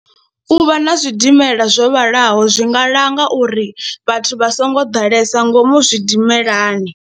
U vha na zwidimela zwo vhalaho zwi nga langa uri vhathu vha songo ḓalesa ngomu zwidimelani.